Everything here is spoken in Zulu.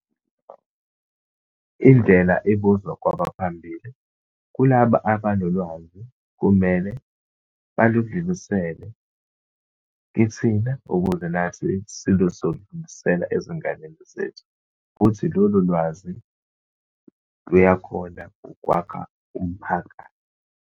Indlela ibuzwa kwabaphambili. Kulaba abanolwazi, kumele baludlilisele kithina, ukuze nathi silozoludlulisela ezinganeni zethu. Futhi lolo lwazi luya khona ukwakha umphakathi.